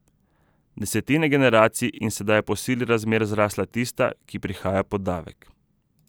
Desetine generacij in sedaj je po sili razmer zrasla tista, ki prihaja po davek.